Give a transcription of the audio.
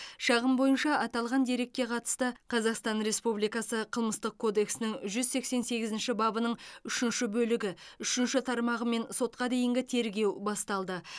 шағым бойынша аталған дерекке қатысты қазақстан республикасы қылмыстық кодексінің жүз сексен сегізінші бабының үшінші бөлігі үшінші тармағымен сотқа дейінгі тергеу басталды